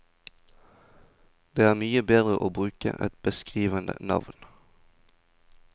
Det er mye bedre å bruke et beskrivende navn.